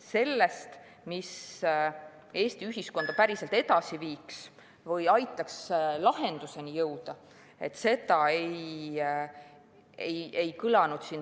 Seda, mis Eesti ühiskonda päriselt edasi viiks või aitaks lahendusele jõuda, siin täna ei kõlanud.